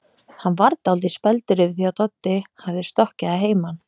Hann varð dálítið spældur yfir því að Doddi hafði stokkið að heiman.